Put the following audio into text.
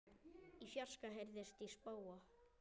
Í fjarska heyrist í spóa.